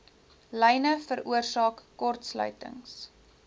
lyne veroorsaak kortsluitings